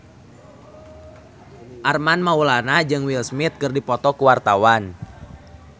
Armand Maulana jeung Will Smith keur dipoto ku wartawan